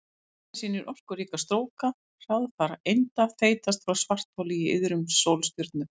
Mynd sem sýnir orkuríka stróka hraðfara einda þeytast frá svartholi í iðrum sólstjörnu.